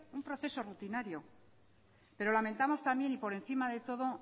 un proceso rutinario pero lamentamos también y por encima de todo